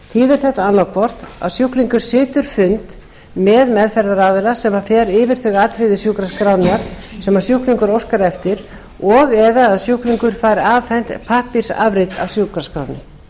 þýðir þetta annaðhvort að sjúklingur situr fund með meðferðaraðila sem fer yfir þau atriði sjúkraskrárinnar sem sjúklingur óskar eftir og eða að sjúklingur fær afhent pappírsafrit af sjúkraskránni